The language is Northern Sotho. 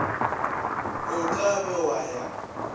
o ka be wa ya